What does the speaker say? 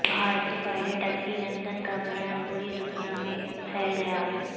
بھارتی pilot Abhinandan کا بیان پوری دنیا میں پھیل گیا